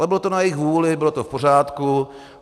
Ale bylo to na jejich vůli, bylo to v pořádku.